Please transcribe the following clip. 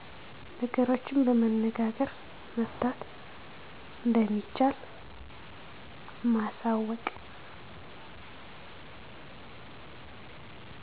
ነገሮችን በመነጋገር መፍታት እንደሚቻል ማሳወቅ